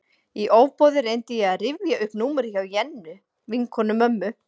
Í ofboði reyndi ég að rifja upp númerið hjá Jennu, vinkonu mömmu.